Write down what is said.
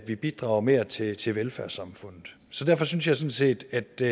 vi bidrager mere til til velfærdssamfundet så derfor synes jeg sådan set at det